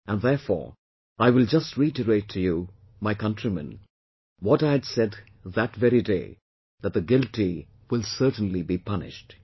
And, therefore, I will just reiterate to you, my countrymen, what I had said that very day, that the guilty will certainly be punished